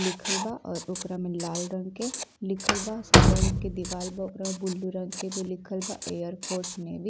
लिखल बा और ओकरा में लाल रंग के लिखल बा। सादा रंग के दीवाल बा ओकरा में ब्लू रंग के में लिखल बा एयर फोर्स नेवी ।